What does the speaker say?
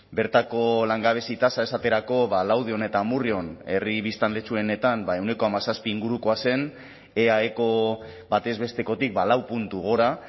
bertako langabezia tasa esaterako laudion eta amurrion herri biztanletxuenetan ehuneko hamazazpi ingurukoa zen eaeko batez bestekotik lau puntu gora